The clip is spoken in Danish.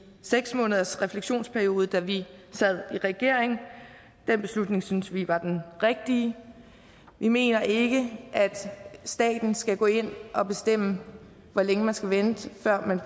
seks måneders refleksionsperiode da vi sad i regering og den beslutning synes vi var den rigtige vi mener ikke at staten skal gå ind og bestemme hvor længe man skal vente før man